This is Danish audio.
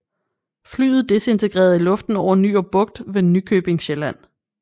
Flyet disintegrede i luften over Nyrup Bugt ved Nykøbing Sjælland